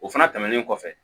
O fana tɛmɛnen kɔfɛ